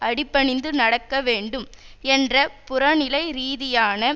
அடி பணிந்து நடக்க வேண்டும் என்ற புற நிலை ரீதியான